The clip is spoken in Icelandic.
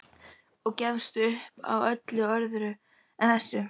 Og gefist upp á öllu öðru en þessu.